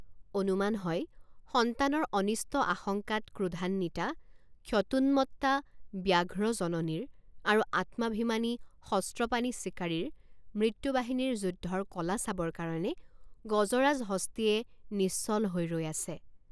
অনুমান হয় সন্তানৰ অনিষ্ট আশঙ্কাত ক্ৰোধান্বিতা ক্ষতোন্মত্তা ব্যাঘ্ৰ জননীৰ আৰু আত্মাভিমানী শস্ত্ৰপাণি চিকাৰীৰ মৃত্যুবাহিনীৰ যুদ্ধৰ কলা চাবৰ কাৰণে গজৰাজ হস্তীয়ে নিশ্চল হৈ ৰৈ আছে।